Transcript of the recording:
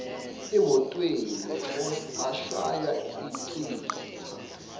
emotweni ashaya achitha